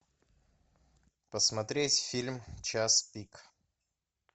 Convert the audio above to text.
посмотреть фильм час пик